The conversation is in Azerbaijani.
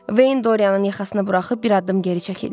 Veyn Doryanın yaxasını buraxıb bir addım geri çəkildi.